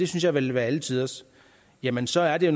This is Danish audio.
synes jeg ville være alle tiders jamen så er det